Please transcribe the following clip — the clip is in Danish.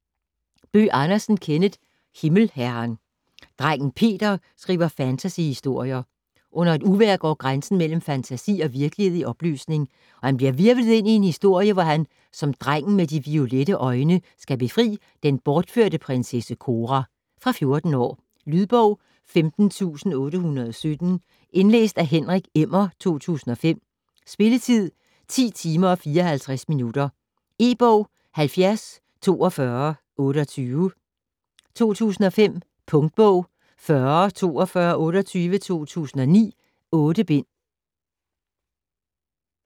Bøgh Andersen, Kenneth: Himmelherren Drengen Peter skriver fantasyhistorier. Under et uvejr går grænsen mellem fantasi og virkelighed i opløsning, og han bliver hvirvlet ind i en historie, hvor han som "Drengen med de violette øjne" skal befri den bortførte prinsesse Cora. Fra 14 år. Lydbog 15817 Indlæst af Henrik Emmer, 2005. Spilletid: 10 timer, 54 minutter. E-bog 704228 2005. Punktbog 404228 2009. 8 bind.